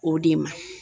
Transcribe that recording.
O de ma